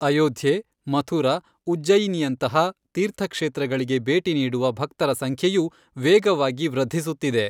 ಅಯೋಧ್ಯೆ, ಮಥುರಾ, ಉಜ್ಜಯಿನಿಯಂತಹ ತೀರ್ಥಕ್ಷೇತ್ರಗಳಿಗೆ ಭೇಟಿ ನೀಡುವ ಭಕ್ತರ ಸಂಖ್ಯೆಯೂ ವೇಗವಾಗಿ ವೃದ್ಧಿಸುತ್ತಿದೆ.